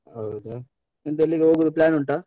ಹೌದಾ? ಎಂತ ಎಲ್ಲಿಗೆ ಹೋಗುದು plan ಉಂಟಾ?